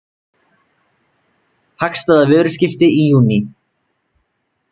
Hagstæða vöruskipti í júní